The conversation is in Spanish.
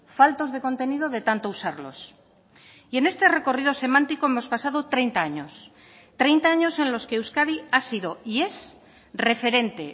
faltos de contenido de tanto usarlos y en este recorrido semántico hemos pasado treinta años treinta años en los que euskadi ha sido y es referente